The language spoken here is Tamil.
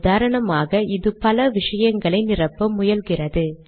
உதாரணமாக இது பல விஷயங்களை நிரப்ப முயல்கிறது